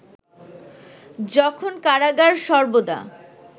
যখন কারাগার সর্বদা